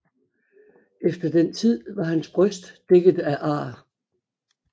Efter den tid var hans bryst dækket af ar